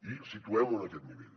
i situem ho en aquest nivell